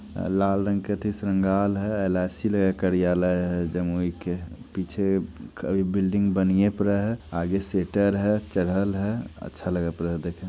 लाल रंग का श्रींगार है एलआईसी के कार्यालय है जमीन के है पीछे अभी बिल्डिंग बनआये है आगे सिटर है चरल है अच्छा लगत रहा देखे।